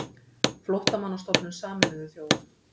Flóttamannastofnun Sameinuðu þjóðanna.